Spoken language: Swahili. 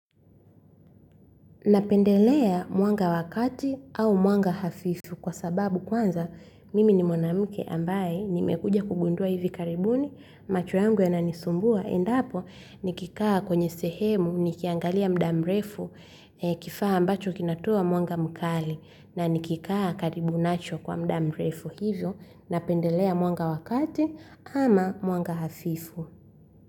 Napendelea mwanga wakati au mwanga hafifu kwa sababu kwanza mimi ni mwanamke ambaye ni mekuja kugundua hivi karibuni macho yangu yananisumbua endapo nikikaa kwenye sehemu nikiangalia muda mrefu kifaa ambacho kinatoa mwanga mkali na nikikaa karibu nacho kwa muda mrefu hivyo napendelea mwanga wa kati ama mwanga hafifu.